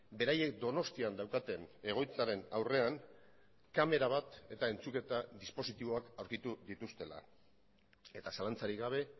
beraiek donostian daukaten egoitzaren aurrean kamera bat eta entzuketa dispositiboak aurkitu dituztela eta zalantzarik gabe